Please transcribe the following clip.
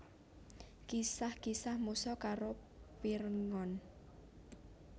Kisah Kisah Musa karo Pirngon